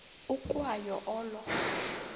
ukwa yo olo